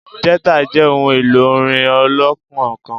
Jìtá jẹ ohun elo orin olokun kan.